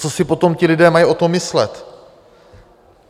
Co si potom ti lidé mají o tom myslet?